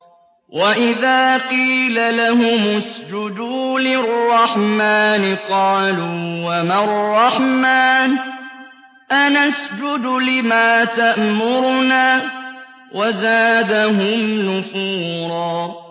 وَإِذَا قِيلَ لَهُمُ اسْجُدُوا لِلرَّحْمَٰنِ قَالُوا وَمَا الرَّحْمَٰنُ أَنَسْجُدُ لِمَا تَأْمُرُنَا وَزَادَهُمْ نُفُورًا ۩